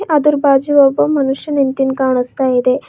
ಅದರ ಬಾಜು ಒಬ್ಬ ಮನುಷ್ಯ ನಿಂತಿದ್ ಕಾಣಿಸ್ತಾ ಇದೆ.